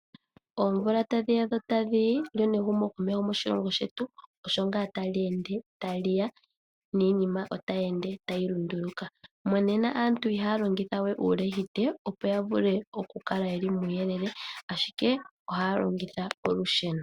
Omvula tadhiya dho tadhi yi lyo nehumokomeho moshilongo shetu osho nga tali ende tali ya niinima otayi lunduluka. Monena aantu ihaya longitha wee uulehite opo yavule okukala yeli muuyelele ashike ohaya longitha olusheno.